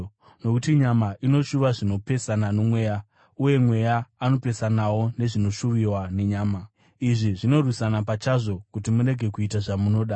Nokuti nyama inoshuva zvinopesana noMweya, uye Mweya anopesanawo nezvinoshuviwa nenyama. Izvi zvinorwisana pachazvo, kuti murege kuita zvamunoda.